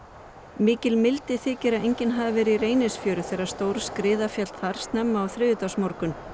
mikil mildi þykir að enginn hafi verið í Reynisfjöru þegar stór skriða féll þar snemma á þriðjudagsmorgun